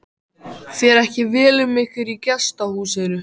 Fer ekki vel um ykkur í gestahúsinu?